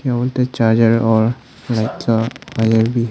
Phone के charger और Alexa वगैरा भी है।